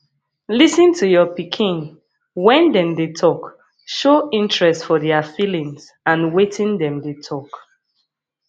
lis ten to your pikin when dem dey talk show interest for their feelings and wetin dem dey talk